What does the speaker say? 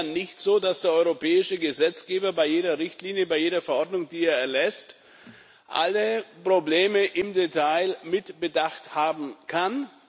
Es ist ja nicht so, dass der europäische Gesetzgeber bei jeder Richtlinie, bei jeder Verordnung, die er erlässt, alle Probleme im Detail mitbedacht haben kann.